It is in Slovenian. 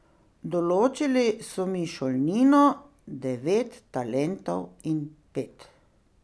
Določili so mi šolnino, devet talentov in pet.